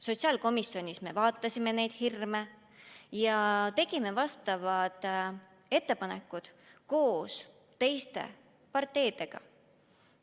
Sotsiaalkomisjonis me arutasime neid hirme ja tegime vastavad ettepanekud koos teiste parteidega.